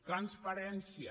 transparència